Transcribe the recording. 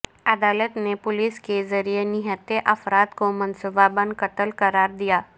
عدالت نے پولیس کے ذریعہ نہتھے افراد کو منصوبہ بند قتل قراردیا